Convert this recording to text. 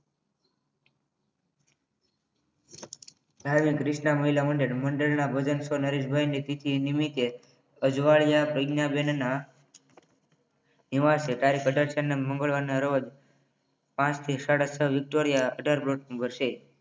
Driving Krishna મહિલા મંડળ ના ભજન સ્વ નરેશભાઈ ને તિથિ નિમિત્તે અજવાડિયા પગનાબેન ના નિવાસે તારીખ અઢાર ચાર ના મંગળવારને રોજ પાંચ થી સાડા છ વિક્ટોરિયા અઢાર plot number છે